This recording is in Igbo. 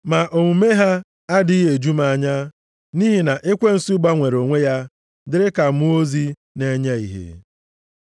Ma omume ha adịghị eju m anya, nʼihi na ekwensu gbanwere onwe ya dịrị ka mmụọ ozi na-enye ìhè.